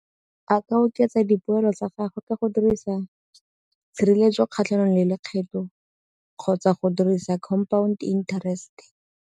A ka oketsa dipoelo tsa gago ka go dirisa tshireletso kgatlhanong le lekgetho kgotsa go dirisa compound interest.